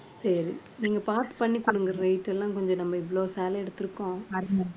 சரி நீங்க பாத்து பண்ணி கொடுங்க rate எல்லாம் கொஞ்சம் நம்ம இவ்வளவு சேலை எடுத்திருக்கோம்.